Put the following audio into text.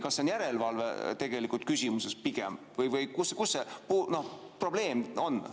Kas see on tegelikult pigem järelevalveküsimus või kus see probleem on?